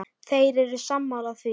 Þeir eru sammála því.